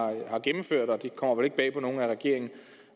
gennemført og det kommer vel ikke bag på nogen at regeringen